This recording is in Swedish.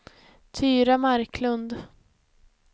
Tyra Marklund